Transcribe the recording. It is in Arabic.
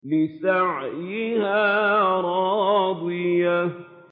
لِّسَعْيِهَا رَاضِيَةٌ